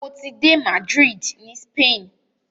Mọ ti de Madrid ni Spain.